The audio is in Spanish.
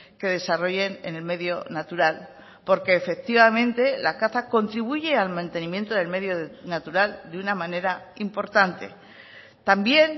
que desarrollen en el medio natural porque efectivamente la caza contribuye al mantenimiento del medio natural de una manera importante también